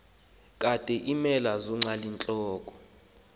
kade iimela zonqalintloko